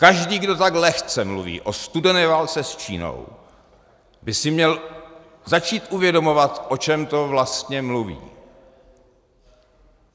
Každý, kdo tak lehce mluví o studené válce s Čínou, by si měl začít uvědomovat, o čem to vlastně mluví.